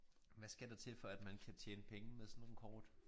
Hvad skal der til for at man kan tjene penge med sådan nogle kort